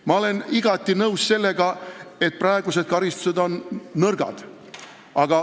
Ma olen igati nõus, et praegused karistused on leebed.